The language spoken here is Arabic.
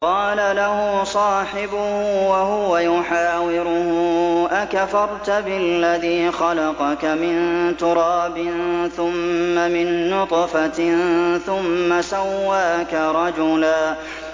قَالَ لَهُ صَاحِبُهُ وَهُوَ يُحَاوِرُهُ أَكَفَرْتَ بِالَّذِي خَلَقَكَ مِن تُرَابٍ ثُمَّ مِن نُّطْفَةٍ ثُمَّ سَوَّاكَ رَجُلًا